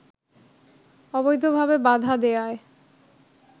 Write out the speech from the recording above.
অবৈধভাবে বাধা দেয়ায়